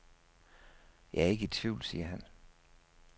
Jeg er ikke i tvivl, siger han.